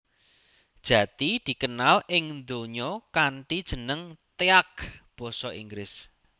Jati dikenal ing donya kanthi jeneng teak basa Inggris